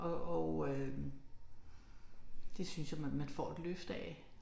Og og øh det synes jeg man man får et løft af